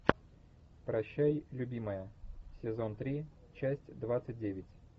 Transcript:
прощай любимая сезон три часть двадцать девять